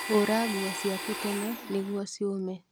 Hũra nguo ciaku tene nĩguo cuũme